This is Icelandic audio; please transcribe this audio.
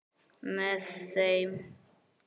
Með þeim